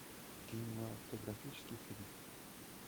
кинематографический фильм